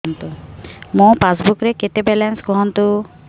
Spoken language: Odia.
ମୋ ପାସବୁକ୍ ରେ କେତେ ବାଲାନ୍ସ କୁହନ୍ତୁ